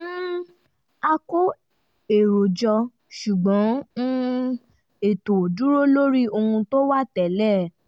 um a kó èrò jọ ṣùgbọ́n um ètò dúró lórí ohun tó wà tẹ́lẹ̀